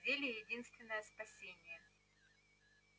зелье единственное спасение